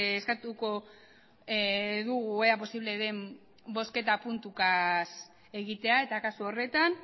eskatuko dugu ea posible den bozketa puntuka egitea eta kasu horretan